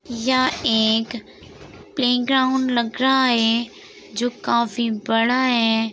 यहाँ एक प्लेग्राउंड लग रहा है जो काफी बड़ा है।